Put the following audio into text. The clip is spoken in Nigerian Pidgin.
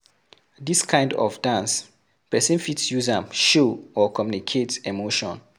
Dis kind of dance person fit use am show or communicate emotion